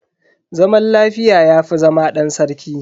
Zaman lafiya yafi zama dan sarki.